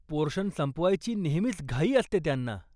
Portion संपवायची नेहमीच घाई असते त्यांना.